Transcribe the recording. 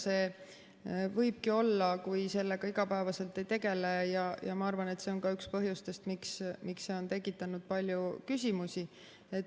See võibki olla, kui sellega igapäevaselt ei tegele, ja ma arvan, et see on ka üks põhjustest, miks see on tekitanud palju küsimusi.